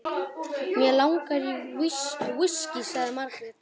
Mig langar í viskí, sagði Margrét.